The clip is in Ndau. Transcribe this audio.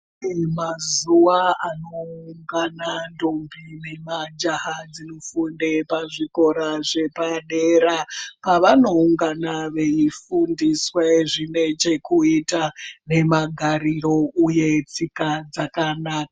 Pane mazuwa anoungana ndombi nemajaha dzinofunde pazvikora zvepadera pavanoungana veifundiswe zvinechekuita nemagariro uye tsika dzakanaka.